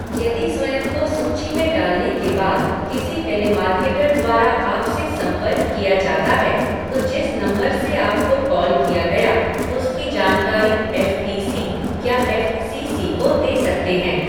यदि स्वयं को सूची में डालने के बाद किसी टेलीमार्केटर द्वारा आपसे संपर्क किया जाता है, तो जिस नंबर से आपको कॉल किया गया, उसकी जानकारी एफ टी सी या एफ़ सी सी को दे सकते हैं।